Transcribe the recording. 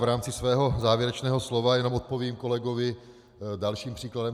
V rámci svého závěrečného slova jenom odpovím kolegovi dalším příkladem.